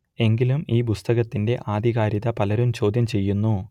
എങ്കിലും ഈ പുസ്തകത്തിന്റെ ആധികാരികത പലരും ചോദ്യം ചെയ്യുന്നു